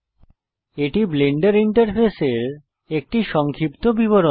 এটি ব্লেন্ডার ইন্টারফেসের একটি সংক্ষিপ্ত বিবরণ